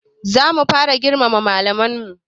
Za mu fara girmama malaman mu